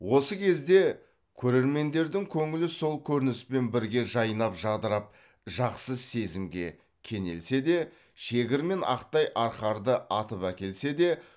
осы кезде көрермендердің көңілі сол көрініспен бірге жайнап жадырап жақсы сезімге кенелсе де шегір мен ақтай арқарды атып әкелсе де